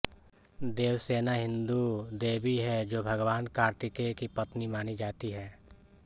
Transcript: देवसेना हिन्दू देवी हैं जो भगवान कार्तिकेय की पत्नी मानी जाती हैं